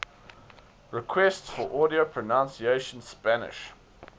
requests for audio pronunciation spanish